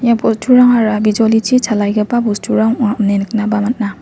ia bosturangara bijolichi chalaigipa bosturang ong·a ine niknaba man·a.